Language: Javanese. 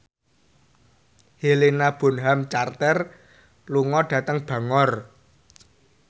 Helena Bonham Carter lunga dhateng Bangor